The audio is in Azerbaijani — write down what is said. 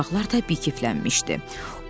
Elə uşaqlar da bikiflənmişdi.